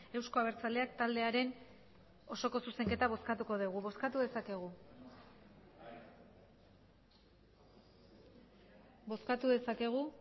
euzko abertzaleak taldearen osoko zuzenketa bozkatuko dugu bozkatu dezakegu bozkatu dezakegu